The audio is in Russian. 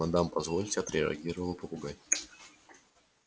мадам позвольте отреагировал попугай